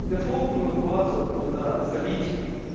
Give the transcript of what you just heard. дефолтную базу туда залить